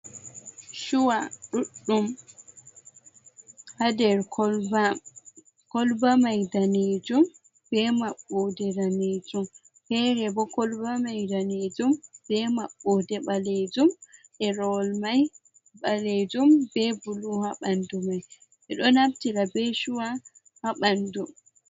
Chuwa ɗuɗɗum ha nder koloba, koloba mai danejum be maɓɓode danejum. Fere bo koloba mai danejum be maɓɓode ɓalejum. Ɗerewol mai ɓalejum be bulu ha ɓandu mai. Ɓeɗo naftira be chuwa ha ɓandu.